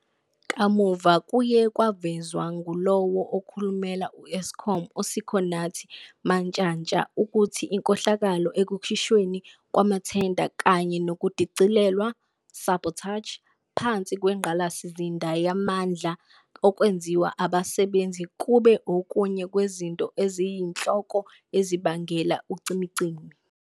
Kamuva kuye kwavezwa ngulowo okhulumela u-Eskom uSikhonathi Mantshantsha, ukuthi inkohlakalo ekukhishweni kwamathenda kanye nokudicilelwa "sabotage" phansi kwengqalasizinda yamandla okwenziwa abasebenzi kube okunye kwezinto eziyinhloko ezibangela ucimicimi.